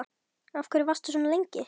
Af hverju varstu svona lengi?